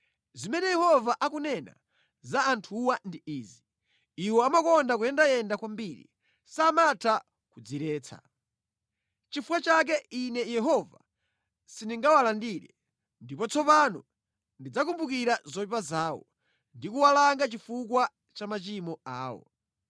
Zimene Yehova akunena za anthuwa ndi izi: “Iwo amakonda kuyendayenda kwambiri; samatha kudziretsa. Nʼchifukwa chake Ine Yehova sindingawalandire, ndipo tsopano ndidzakumbukira zoyipa zawo ndi kuwalanga chifukwa cha machimo awo.”